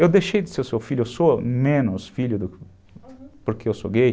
Eu deixei de ser seu filho, eu sou menos filho porque eu sou gay.